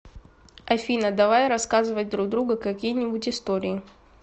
афина давай рассказывать друг другу какие нибудь истории